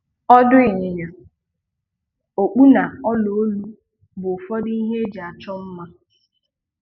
Ọdụ̀ ịnyịnya, okpù na ọ̀là olu bụ ụfọdụ ihe eji achọ mma.